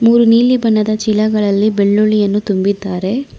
ನೀಲಿ ಬಣ್ಣದ ಚೀಲಗಳಲ್ಲಿ ಬೆಳ್ಳುಳ್ಳಿ ಯನ್ನು ತುಂಬಿದ್ದಾರೆ.